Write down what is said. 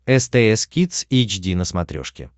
стс кидс эйч ди на смотрешке